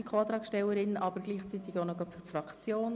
Sie äussert sich zugleich für die Fraktion.